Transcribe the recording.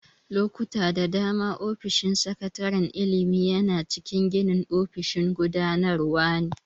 Lokuta da dama, ofishin sakataren ilimi yana cikin ginin ofishin gudanarwa ne.